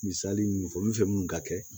Misali minnu fɔ olu fɛ munnu ka kɛ